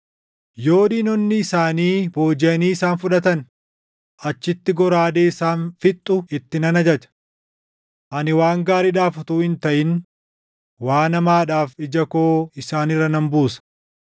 Yoo diinonni isaanii boojiʼanii isaan fudhatan, achitti goraadee isaan fixxu itti nan ajaja. “Ani waan gaariidhaaf utuu hin taʼin waan hamaadhaaf ija koo isaan irra nan buusa.”